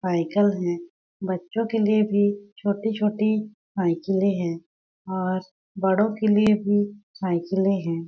Cycle हैं। बच्चों के लिए भी छोटी-छोटी साईकलें है और बड़ो के लिए भी साईकलें हैं।